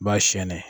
Ba sɛnɛn